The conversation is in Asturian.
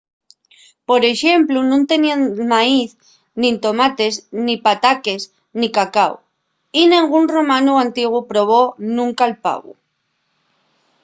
por exemplu nun teníen maíz nin tomates nin pataques nin cacáu. y nengún romanu antiguu probó nunca’l pavu